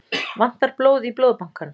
Vantar blóð í Blóðbankann